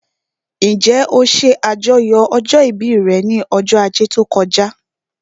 Njẹ́ ó ṣe àjọyọ̀ ọjọ́ ìbí rẹ̀ ní ọjọ́ ajé tó kọjá?